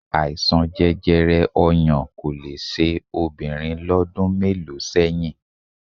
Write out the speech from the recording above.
Àìsàn jẹjẹrẹ ọyàn kò le ṣe ọkùnrin lọ́dún mélòó sẹ́yìn